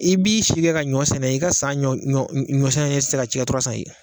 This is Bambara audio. I b'i si kɛ ka ɲɔ sɛnɛ i ka san ɲɔ sɛnɛnen tɛ caya ye